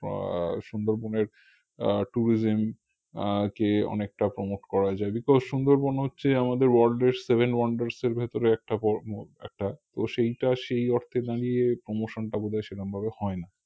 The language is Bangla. আহ সুন্দরবনের আহ tourism আহ আর কি অনেকটা promote করে যায় because সুন্দরবন হচ্ছে আমাদের world এর seven wonders এর ভিতরে একটা একটা তো সেটার সেই অর্থে দাঁড়িয়ে promotion টা বোধয় সেরকমভাবে হয়না